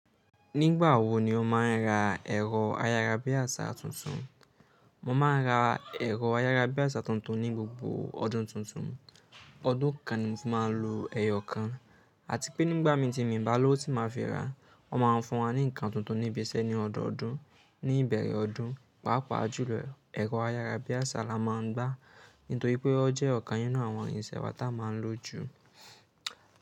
Nígbà wo ni o máa ń ra ẹ̀rọ ayára bí àsárà tuntun? Mo máa ń ra ẹ̀rọ ayára bí àsárà tuntun ní gbogbo ọdún tuntun. Ọdún kan ni mo fi máa ń lo ẹyọ kan. Àti pé nígbà mi ti mi ń bá ló ti máa fi ra, wọ́n máa ń fún wa ní nǹkan tuntun ní ibi iṣẹ́ ní ọdọọdún, ní ìbẹ̀rẹ̀ ọdún, pàápàá jùlọ ẹ̀rọ ayára bí àsárà la máa ń gbá, nítorí pé ọ jẹ́ ọ̀kan nínú àwọn ìrìnsẹ̀ wàá tá a máa ń lò jù.